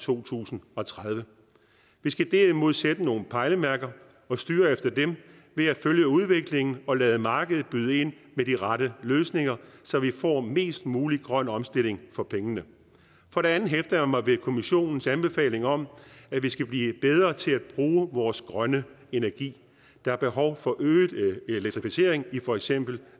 to tusind og tredive vi skal derimod sætte nogle pejlemærker og styre efter dem ved at følge udviklingen og lade markedet byde ind med de rette løsninger så vi får mest mulig grøn omstilling for pengene for det andet hæfter jeg mig ved kommissionens anbefaling om at vi skal blive bedre til at bruge vores grønne energi der er behov for øget elektrificering i for eksempel